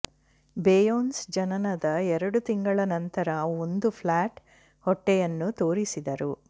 Beyonce ಜನನದ ಎರಡು ತಿಂಗಳ ನಂತರ ಒಂದು ಫ್ಲಾಟ್ ಹೊಟ್ಟೆಯನ್ನು ತೋರಿಸಿದರು